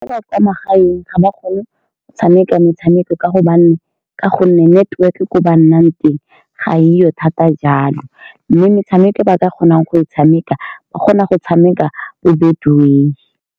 Ba ba kwa magaeng ga ba kgone go tshameka metshameko ka gobane, ka gonne network-e ko ba nnang teng ga e yo thata jalo, mme metshameko e ba ka kgonang go e tshameka, ba kgona go tshameka bo-Betway.